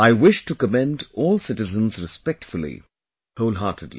I wish to commend all citizens respectfully, wholeheartedly